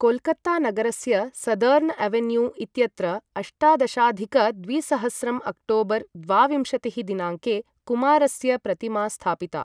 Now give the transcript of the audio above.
कोल्कत्तानगरस्य southern avenue इत्यत्र अष्टादशाधिक द्विसहस्रं अक्टोबर् द्वाविंशतिः दिनाङ्के कुमारस्य प्रतिमा स्थापिता।